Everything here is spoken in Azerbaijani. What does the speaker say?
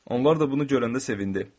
Onlar da bunu görəndə sevindi.